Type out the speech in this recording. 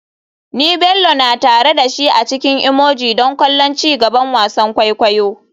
Ni Bello na tare da shi a cikin emoji don kallon ci gaban wasan kwaikwayo.